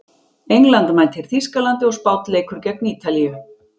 England mætir Þýskalandi og Spánn leikur gegn Ítalíu.